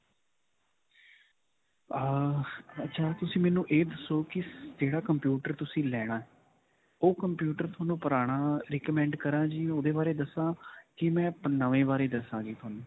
ਅਅ ਅੱਛਾ. ਤੁਸੀਂ ਮੈਨੂੰ ਇਹ ਦੱਸੋ ਕਿ ਕਿਹੜਾ computer ਤੁਸੀਂ ਲੈਣਾ. ਉਹ computer ਤੁਹਾਨੂੰ ਪੁਰਾਣਾ recommend ਕਰਾਂ ਜੀ, ਓਹਦੇ ਬਾਰੇ ਦੱਸਾਂ ਕਿ ਮੈ ਨਵੇਂ ਬਾਰੇ ਦੱਸਾ ਜੀ ਤੁਹਾਨੂੰ.